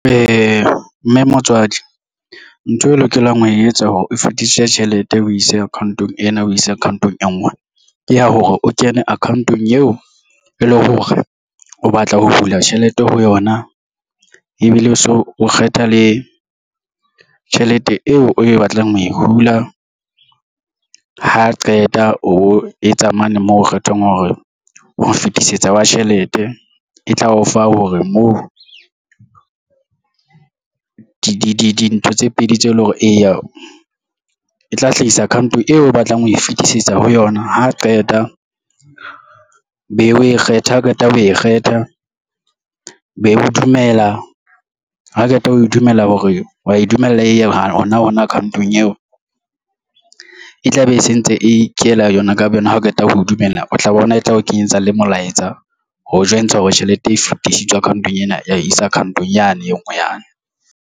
Ee, mme motswadi ntho e lokelang ho e etsa hore o fetisitse tjhelete o ise account-ong ena o ise account-ong e ngwe ke ya hore o kene account-ong eo e leng hore o batla ho hula tjhelete ho yona ebile o so o kgetha le tjhelete eo o batlang ho e hula ha qeta o etsa mane mo kgethang hore o fetisetsa wa tjhelete e tla o fa hore moo o dintho tse pedi tseo e leng hore e tla hlahisa account-ong eo o batlang ho e fetisetsa ho yona ha qeta o be o e kgetha o qeta o e kgetha be o dumela ha qeta ho e dumela hore wa e dumella e ha hona hona account ong eo e tlabe e sentse ikela yona ka bo yona. Ha o qeta ho dumella o tla bona e tla o kenyetsa le molaetsa ho jwentsha hore tjhelete e fetisitswe account-ong ena ya isa account-ong yane e nngwe yane.